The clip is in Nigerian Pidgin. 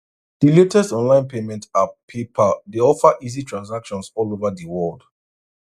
di latest online payment app paypal dey offer easy transactions all over di world